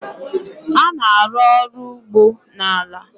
a na-arụ ọrụ ugbo na ala